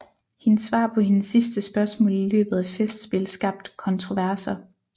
Hendes svar på hendes sidste spørgsmål i løbet af festspil skabt kontroverser